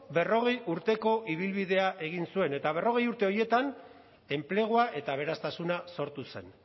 berrogei urteko ibilbidea egin zuen eta berrogei urte horietan enplegua eta aberastasuna sortu zen